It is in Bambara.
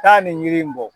Taa nin yiri in bɔ